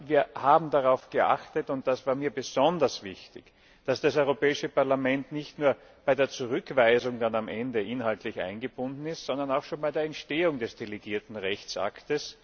Wir haben darauf geachtet und das war mir besonders wichtig dass das Europäische Parlament nicht nur bei der Zurückweisung am Ende inhaltlich eingebunden ist, sondern auch schon bei der Entstehung des delegierten Rechtsakts.